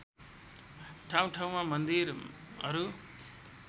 ठाउँ ठाउँमा मन्दिरहरू